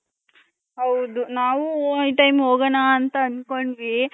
ಹೌದು ನಾವು time ಹೋಗಣ ಅಂತ ಅಂದ್ಕೊಂಡ್ರಿ .